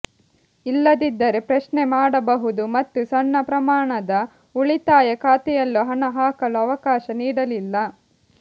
ಇಲ್ಲದಿದ್ದರೆ ಪ್ರಶ್ನೆ ಮಾಡಬಹುದು ಮತ್ತು ಸಣ್ಣ ಪ್ರಮಾಣದ ಉಳಿತಾಯ ಖಾತೆಯಲ್ಲೂ ಹಣ ಹಾಕಲು ಅವಕಾಶ ನೀಡಲಿಲ್ಲ